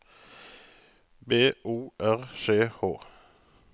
B O R C H